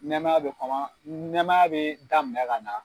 Nɛmaya bɛ kɔman nɛmaya bɛ daminɛ ka na.